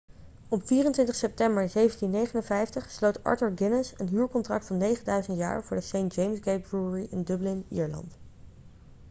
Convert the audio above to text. op 24 september 1759 sloot arthur guinness een huurcontract van 9000 jaar voor de st james' gate brewery in dublin ierland